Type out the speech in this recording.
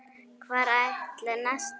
Hvar ætli Nesta sé?